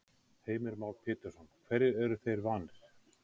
Heimir Már Pétursson: Hverju eru þeir vanir?